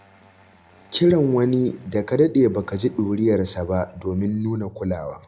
Kiran wani da ka daɗe ba ka ji ɗuriyarsa ba domin nuna kulawa.